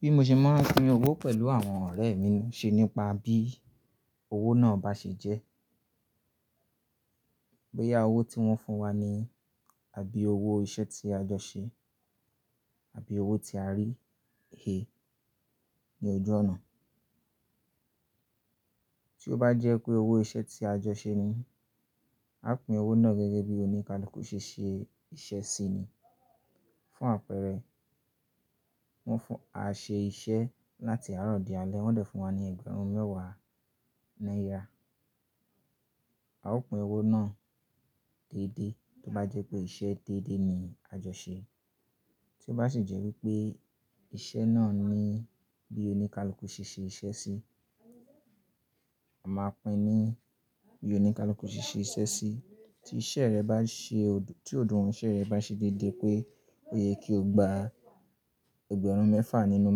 Bí mo ṣe máa ń pín owó pẹ̀lú àwọn ọ̀rẹ́ mi, ṣe nípa bí owó náà bá ṣe jẹ́. Bóyá owó tí wọ́n fún wa ni àbí owó iṣẹ́ tí a jọ ṣe àbí owó tí a rí é ní ojú ọ̀nà. Tí ó bá jẹ́ pé owó iṣẹ́ tí a jọ ṣe ni, a pín owó náà gẹ́gẹ́ bí oníkálukú ṣe ṣe iṣẹ́ sí ni. Fun Apẹ́ẹ̀rẹ̀ bóyá owó tí wọ́n fún wa ni àbí owó iṣẹ́ tí a jọ ṣe àbí owó tí a rí he ní ojú ọ̀nà. Tí ó bá jẹ́ pé owó iṣẹ́ tí a jọ ṣe ni, a pín owó náà gẹ́gẹ́ bí oníkálukú ṣe ṣe iṣẹ́ sí ni. Tí ó bá sì jẹ́ wípé iṣẹ́ náà ni bí oníkálukú ṣe ṣe iṣẹ́ sí, a máa pín ni bí oníkálukú ṣe ṣe iṣẹ́ sí. Tí iṣẹ́ rẹ bá ṣe òd-- tí òdí wọn iṣẹ́ rẹ bá ṣe déédéé pé ó yẹ kí o gba ẹgbẹ̀rún mẹ́fà nínú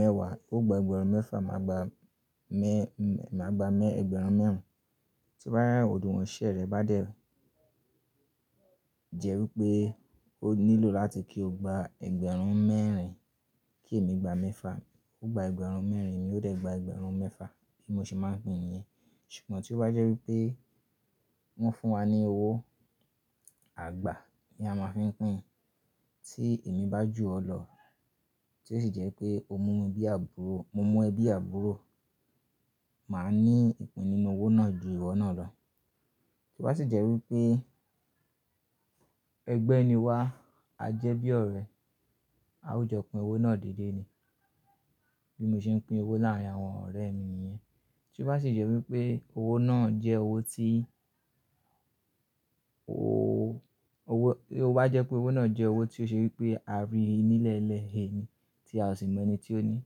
mẹ́wàá, óò gba ẹgbẹ̀rún mẹ́fà, màá gba mẹ́, m-màá gba mẹ́ ẹgbẹ̀rún mẹ́wàá. Tí ó bá yẹ, òdí wọn iṣẹ́ rẹ bá dẹ̀ jẹ́ wípé ó nílò láti kí o gba ẹgbẹ̀rún mẹ́rin, kí èmi gba mẹ́fà, ó gba ẹgbẹ̀rún mẹ́rin, mi ó dẹ̀ gba ẹgbẹ̀rún mẹ́fà. Bí mo ṣe máa ń pín niyẹn. Ṣùgbọ́n tí ó bá jẹ́ wípé wọ́n fún wa ní owó àgbà ni a máa fi ń pín. Tí èmi bá ju ọ lọ, tí ó sì jẹ́ pé o mú mi bí àbúrò, mo mú ẹ bí àbúrò, màá ní ìpín nínú owó náà ju ìwọ náà lọ. Tí ó bá sì jẹ́ wípé ẹgbẹ́ ni wa, a jẹ́ bí ọ̀rẹ́, a ó jọ pín owó náà déédéé ni. Bí mo ṣe ń pín owó láàárín àwọn ọ̀rẹ́ mi ni yẹn. Tí ó bá sì jẹ́ wípé owó náà jẹ́ owó tí o, owó, tó bá jẹ́ pé owó náà jẹ́ owó tí ó ṣe wípé a rí i nílẹ̀ẹ́lẹ̀ e ni tí a ò sì mọ ẹni tí ó ni,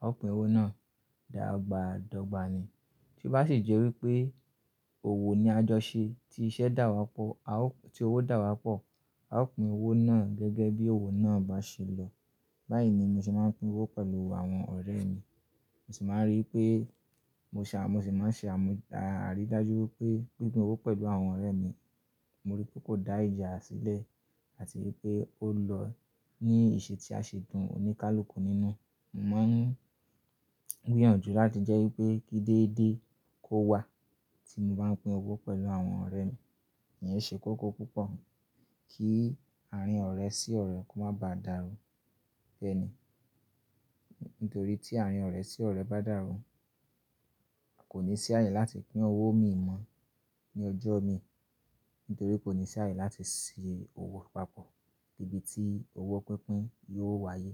a ó pín owó náà dàgbà dọ́gba ni. Tí ó bá sì jẹ́ wípé òwò ni a jọ ṣe, tí iṣẹ́ dà wá pọ̀, a ó, tí owó dà wá pọ̀, a ó pín owó náà gẹ́gẹ́ bí owó náà bá ṣe lọ. Báyìí ni mo ṣe máa ń pín owó pẹ̀lú àwọn ọ̀rẹ́ mi. Mo sì máa ń rí i pé mo ṣe à-- mo sì máa ń ṣe àmú àrì dájú wípé pín owó pẹ̀lú àwọn ọ̀rẹ́ mi, mo rí pé kò dá ìjà sílẹ̀ àti wípé ó lọ ní ìṣe tí a ṣe dùn oníkálukú nínú. Mo mọ n gbí yànju láti jẹ́ wípé kí déédéé kó wà tí mo bá ń pín owó pẹ̀lú àwọn ọ̀rẹ́ mi. Ìyẹn ṣe kókó púpọ̀. Kí àárín ọ̀rẹ́ sí ọ̀rẹ́ kó má ba dàrú ẹni. Nítorí tí àárín ọ̀rẹ́ sí ọ̀rẹ́ bá dàrú, a kò ní sí àyè láti pín owó mi mọ́ ní ọjọ́ mi. Nítorí kò ní sí àyè láti si owó papọ̀ níbi tí owó pínpín yóò wáyé.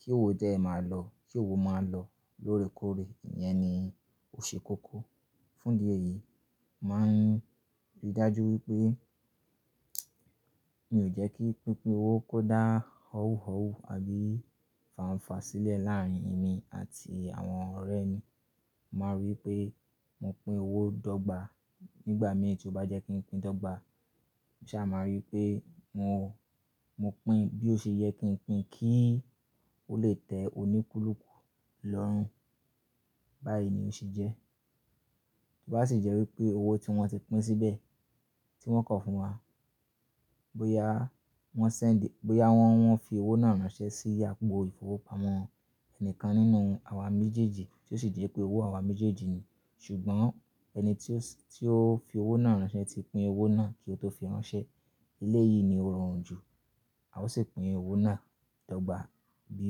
Kí owó dẹ́ ẹ máa lọ, kí owó máa lọ lóore kóòré, ìyẹn ni ó ṣe kókó. Fún di eyìí, màá ń rí dájú wípé mi ò jẹ́ kí pínpín owó kó dá ọ́wúhọ́wú àbí fàǹfà sílẹ̀ láàárín èmi àti àwọn ọ̀rẹ́ mi. Mo máa rí pé mo pín owó dọ́gba nígbà mìí tí ó bá jẹ́ kí n pín dọ́gba. Mo sá máa rí pé mo, mo pín bí ó ṣe yẹ kí n pín kí ó lè tẹ oníkúlùkù lọ́rùn. Báyìí ni ó ṣe jẹ́. Tí ó bá sì jẹ́ wípé owó tí wọ́n ti pín síbẹ̀ tí wọ́n kọ fún wa, bóyá wọ́n sẹ́ǹdì, bóyá wọ́n, wọ́n fi owó náà ránṣẹ́ sí àpò ìfowópamọ́ ẹni kan nínú àwa méjèèjì tí ó sì jẹ́ pé owó àwa méjèèjì ni, ṣùgbọ́n ẹni tí ó, tí ó fi owó náà ránṣẹ́ ti pín owó náà kí ó tó fi ránṣẹ́, ilé yìí ni ó rọrùn jù. A ó sì pín owó náà dọ́gba bí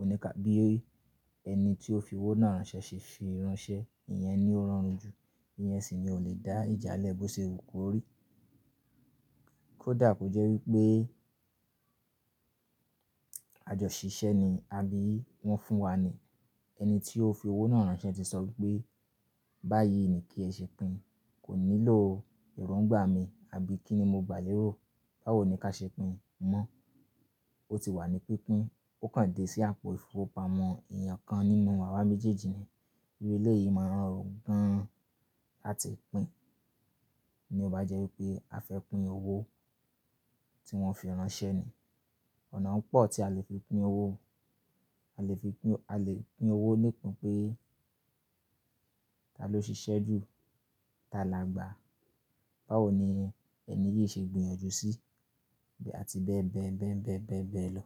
oníkà, bí ẹni tí ó fi owó náà ránṣẹ́ ṣe ṣe ránṣẹ́, ìyẹn ni ó rọrùn jù. Ìyẹn sì ni ó le dá ìjà lẹ́bọ̀ ṣe òkú ò rí. Kódà kò jẹ́ wípé àjọ ṣiṣẹ́ ni àbí wọ́n fún wa ni. Ẹni tí ó fi owó náà ránṣẹ́ ti sọ wípé "báyìí ni kí ẹ ṣe pín, kò nílò ìrọ̀ǹgbà mi àbí kíni mo gbà lérò báwo ni kí a ṣe pín mọ́. Ó ti wà ní pínpín, ó kàn dé sí àpò ìfowópamọ́ èèyàn kan nínú àwa méjèèjì ni. Íuí éléyìí máa ń rọrùn gan-an láti pín. Bí ó bá jẹ́ wípé a fẹ́ pín owó tí wọ́n fi ránṣẹ́ ni. Ọ̀nà pọ̀ tí a lè fi pín owó. A lè fi pín, a lè pín owó nípin pé tá ló ṣiṣẹ́ jù, tá là gba. Báwo ni ẹni yìí ṣe gbìyànjú sí àti bẹ́ẹ̀ bẹ, bẹ́ẹ̀ bẹ́ẹ̀ bẹ́ẹ̀ bẹ lọ.